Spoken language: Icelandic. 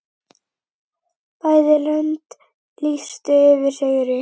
Bæði löndin lýstu yfir sigri.